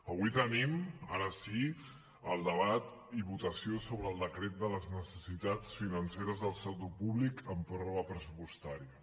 avui tenim ara sí el debat i votació sobre el decret de les necessitats financeres del sector públic en pròrroga pressupostària